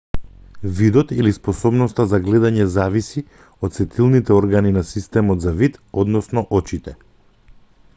видот или способноста за гледање зависи од сетилните органи на системот за вид односно очите